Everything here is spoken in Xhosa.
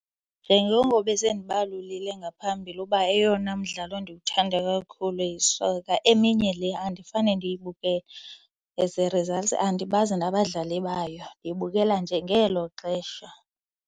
Njengoko besendibalulile ngaphambili uba eyona mdlalo ndiwuthanda kakhulu yi-soccer, eminye le andifane ndiyibukele. As a result andibazi nabadlali bayo. Ndiyibukela nje ngelo xesha.